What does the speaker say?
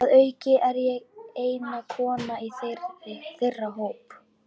Að auki er ég eina konan í þeirra hópi.